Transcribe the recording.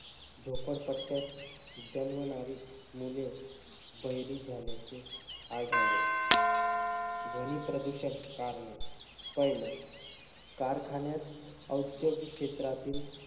झोपडपट्ट्यात जन्मणारी मुले बहिरी झाल्याचे आढळले. ध्वनी प्रदूषक कारणे. पाहिलं, कारखान्यात औद्योगिक क्षेत्रातील,